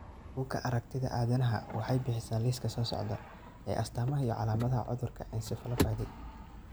Buugga Aragtiyaha Aadanaha waxay bixisaa liiska soo socda ee astamaha iyo calaamadaha cudurka encephalomyopathy.